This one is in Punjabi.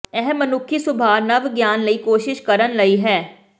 ਇਹ ਮਨੁੱਖੀ ਸੁਭਾਅ ਨਵ ਗਿਆਨ ਲਈ ਕੋਸ਼ਿਸ਼ ਕਰਨ ਲਈ ਹੈ